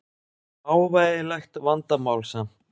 Smávægilegt vandamál samt.